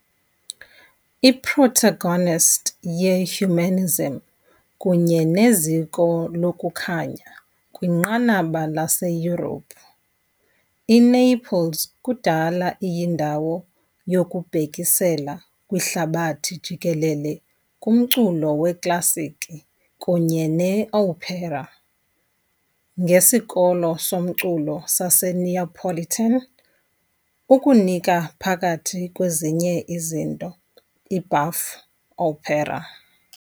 I-Protagonist ye -humanism kunye neziko lokuKhanya kwinqanaba laseYurophu, iNaples kudala iyindawo yokubhekisela kwihlabathi jikelele kumculo weklasikhi kunye ne- opera ngesikolo somculo saseNeapolitan, ukunika, phakathi kwezinye izinto, i- buff opera .